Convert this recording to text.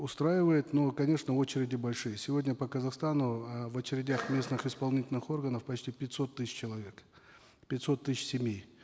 устраивает но конечно очереди большие сегодня по казахстану э в очередях местных исполнительных органов почти пятьсот тысяч человек пятьсот тысяч семей